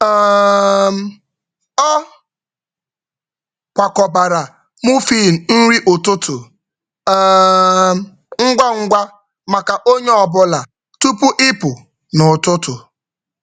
[um]Ọ kwakọbara muffin nri ụtụtụ um ngwa ngwa maka onye ọ bụla tupu ịpụ n’ụtụtụ.